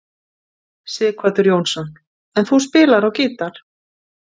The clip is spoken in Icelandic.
Sighvatur Jónsson: En þú spilar á gítar?